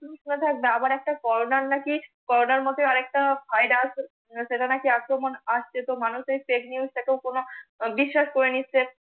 থাকবে আবার একটা করোনার নাকি, করোনার মতোই আর একটা ভাইরাস সেটা নাকি আক্রমন আসছে তো মানুষ এ FAKE নিউজ টা কে কোন বিশ্বাস করে নিচ্ছে।